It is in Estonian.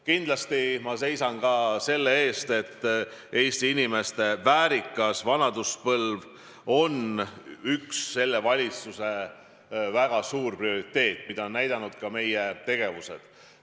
Kindlasti ma seisan ka selle eest, et Eesti inimeste väärikas vanaduspõlv oleks üks selle valitsuse väga suur prioriteet, ja seda on näidanud ka meie tegevused.